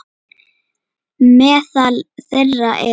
Meðal þeirra eru